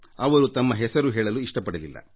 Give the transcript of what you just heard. ಅವರು ತಮ್ಮ ಹೆಸರು ಹೇಳಲು ಇಷ್ಟಪಡಲಿಲ್ಲ